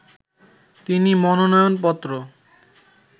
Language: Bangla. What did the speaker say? তিনি মনোনয়নপত্র